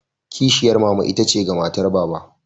Kishiyar mama itace ga matar Baba.